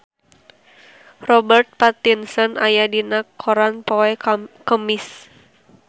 Robert Pattinson aya dina koran poe Kemis